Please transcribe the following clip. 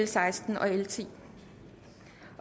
seksten og l tiende